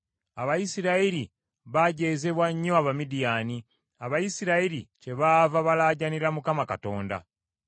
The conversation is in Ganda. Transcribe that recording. Abayisirayiri baajeezebwa nnyo Abamidiyaani, Abayisirayiri kyebaava balaajaanira Mukama Katonda.